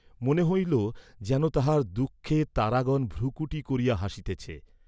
মনে হইল যেন তাহার দুঃখে তারাগণ ভ্রূকুটী করিয়া হাসিতেছে।